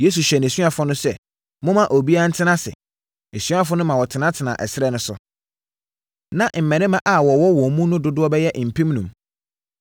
Yesu hyɛɛ nʼasuafoɔ no sɛ, “Momma obiara ntena ase.” Asuafoɔ no ma wɔtenatenaa ɛserɛ no so. Na mmarima a wɔwɔ wɔn mu no dodoɔ bɛyɛ mpemnum.